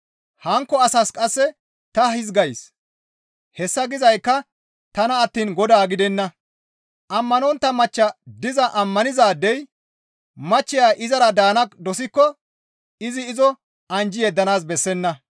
Hankko asaas qasse ta hizgays; hessa gizaykka tana attiin Godaa gidenna; ammanontta machcha diza ammanizaadey machcheya izara daana dosikko izi izo anjji yeddanaas bessenna.